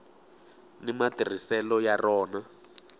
ni matirhiselo ya rona